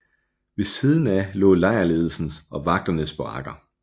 Ved siden af lå lejrledelsens og vagternes barakker